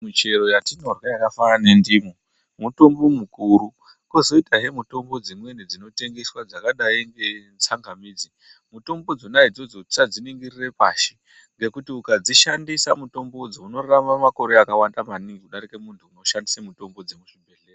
Michero yatinorya yakafanana nendimu mutombo mukuru. Kozoitahe mutombo dzimweni dzinotengeswa dzakadai ngetsanamidzi. Mutombo dzona idzodzo tisadziningirire pashi. Ngekuti ukadzishandise mitombodzo unorarama makore akawanda maningi kudarike muntu unoshandise mutombo dzemuchibhehlera.